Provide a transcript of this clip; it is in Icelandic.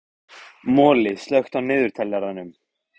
Moli, slökktu á niðurteljaranum.